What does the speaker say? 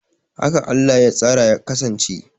Haka Allah ya tsara ya kasance